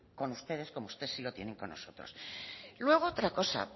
con ustedes como ustedes sí lo tienen con nosotros luego otra cosa